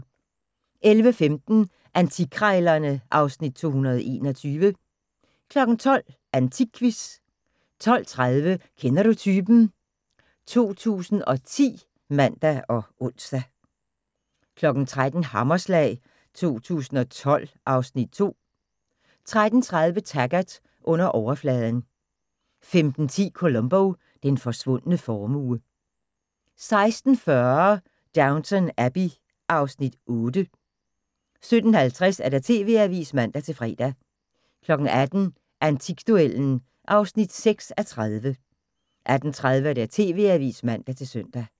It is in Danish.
11:15: Antikkrejlerne (Afs. 221) 12:00: AntikQuizzen 12:30: Kender du typen? 2010 (man og ons) 13:00: Hammerslag 2012 (Afs. 2) 13:30: Taggart: Under overfladen 15:10: Columbo: Den forsvundne formue 16:40: Downton Abbey (Afs. 8) 17:50: TV-avisen (man-fre) 18:00: Antikduellen (6:30) 18:30: TV-avisen (man-søn)